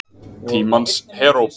Tímans heróp.